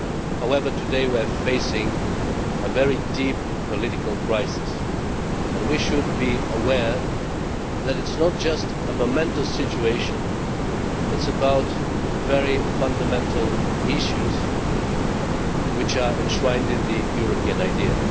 However, today we are facing a very deep political crisis and we should be aware that it is not just a momentous situation it is about very fundamental issues which are enshrined in the European idea.